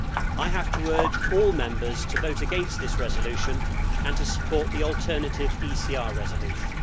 I have to urge all Members to vote against this resolution and to support the alternative ECR resolution.